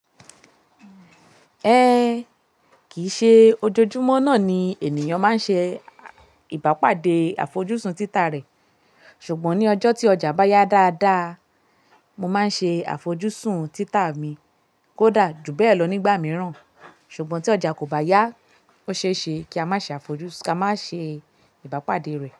Ẹn, kìí ṣe ojoojúmọ́ náà ni ènìyàn máa ń ṣe ìbápàdé àfojúsùn títa rẹ̀. Ṣùgbọ́n ní ọjọ́ tí ọjà bá yá dáadáa, mo máa ń ṣe àfojúsùn títa mi kódà ju bẹ́ẹ̀ lọ nígbà mìíràn. Ṣùgbọ́n tí ọjà kò bá yá ó ṣe é ṣe kí a má ṣe àfojúsùn ká má ṣe ìbápàdé rẹ̀